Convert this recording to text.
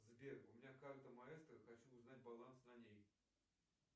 сбер у меня карта маэстро хочу узнать баланс на ней